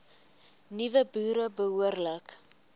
nuwe boere behoorlik